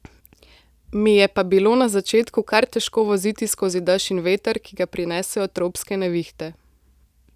Mi je pa bilo na začetku kar težko voziti skozi dež in veter, ki ga prinesejo tropske nevihte.